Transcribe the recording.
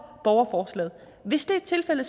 borgerforslaget hvis det er tilfældet